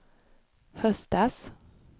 höstas